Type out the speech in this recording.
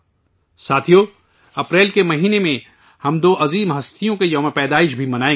ساتھیو ، اپریل کے مہینے میں ہم دو عظیم ہستیوں کا یوم پیدائش بھی منائیں گے